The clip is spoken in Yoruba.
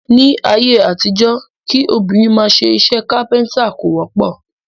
Ní ayé àtijọ́, kí obìnrin máa ṣe iṣẹ́ kápẹ́ntà kò wọ́pọ̀